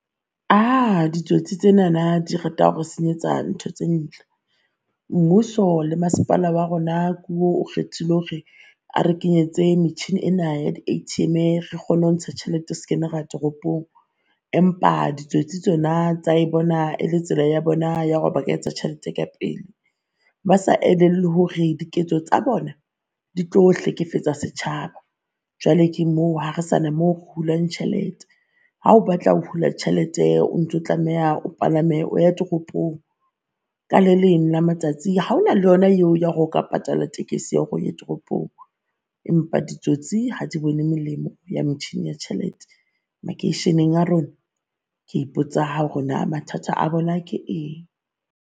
Uh ditsotsi tsenana di rata hore senyetsa ntho tse ntle. Mmuso le masepala wa rona o kgethile hore a re kenyetse metjhini ena ya di ATM-e re kgone ho ntsha tjhelete skebe ra ya toropong. Empa ditsotsi tsona tsa e bona e le tsela ya bona ya hore ba ka etsa tjhelete ka pele. Ba sa elellwe hore diketso tsa bona di tlo hlekefetsa setjhaba. Jwale ke moo ha re sane moo hulwang tjhelete. Ha o batla ho hula tjhelete, o ntso o tlameha o palame o ya toropong. Ka le leng la matsatsi ha ona le yona eo ya hore o ka patala tekesi ya hore o ye toropong, empa ditsotsi ha di bone molemo ya metjhini ya tjhelete makeisheneng a rona. Ke ipotsa hore naa mathata a bona ke eng.